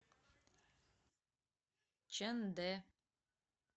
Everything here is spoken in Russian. чэндэ